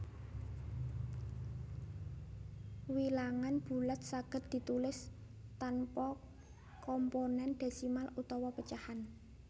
Wilangan bulat saged ditulis tanpa komponén désimal utawa pecahan